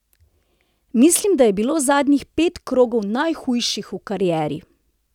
Mislim, da je bilo zadnjih pet krogov najhujših v karieri.